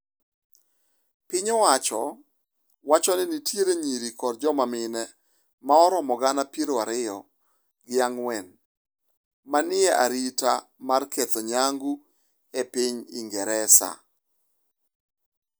Piny owacho wacho ni nitie nyiri kod joma mine ma romo gana piero ariyo gi ang'wen ma ni e arita mar ketho nyangu e piny Ingresa.